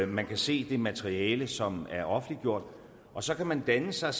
man kan se det materiale som er offentliggjort og så kan man danne sig